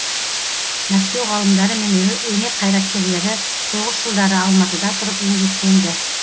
мәскеу ғалымдары мен өнер қайраткерлері соғыс жылдары алматыда тұрып еңбектенді